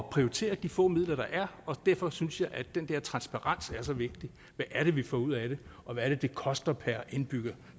at prioritere de få midler der er og derfor synes jeg at den der transparens er så vigtig hvad er det vi får ud af det og hvad er det det koster per indbygger